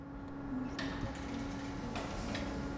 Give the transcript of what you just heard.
нужно погладить вещи